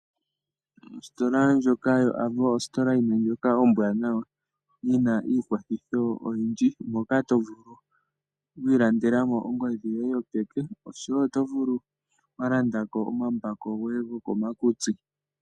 Ostola ndjoka yoAvo ostola yimwe ndjoka ombwaanawa yina iikwathitho oyindji moka to vulu okwii landelamo ongodhi yoye yopeke oshowo oto vulu wo okuka landako omambako goye gokomakutsi.